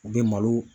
U bɛ malo